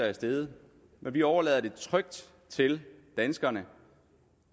er steget men vi overlader det trygt til danskerne